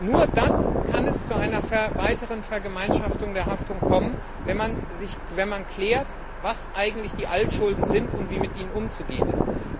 Nur dann kann es zu einer weiteren Vergemeinschaftung der Haftung kommen, wenn man klärt, was eigentlich die Altschulden sind und wie mit ihnen umzugehen ist.